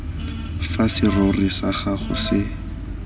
fa serori sa gago se